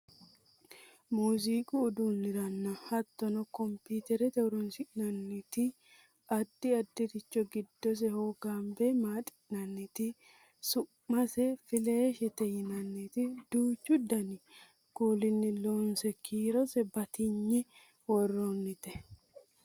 muuziiqu uduuniranna hattono kompiiterrate horonsi'naniti addi addiricho giddose hogonbe maaxi'nanniti su'mase filaashete yinanniti duuchu dani kulinni loonse kiirose batinye worroonnite